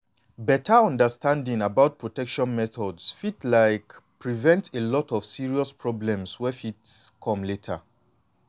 beta understanding about protection methods fit like prevent a lot of serious problems wey fit come later.